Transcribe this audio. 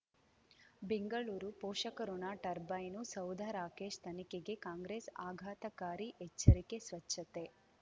ಬೆಂಗಳೂರು ಪೋಷಕಋಣ ಟರ್ಬೈನು ಸೌಧ ರಾಕೇಶ್ ತನಿಖೆಗೆ ಕಾಂಗ್ರೆಸ್ ಆಘಾತಕಾರಿ ಎಚ್ಚರಿಕೆ ಸ್ವಚ್ಛತೆ